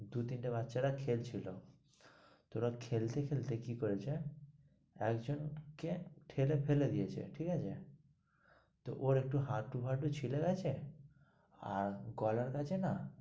দু তিন টা বাচ্চারা খেলছিল, তো ওরা খেলতে খেলতে কি করেছে, একজন কে ঠেলে ফেলে দিয়েছে, ঠিক আছে? তো ওর একটু হাটু ফাটু ছিলে গেছে আর গলার কাছে না,